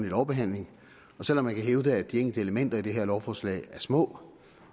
lovbehandling og selv om man kan hævde at de enkelte elementer i det her lovforslag er små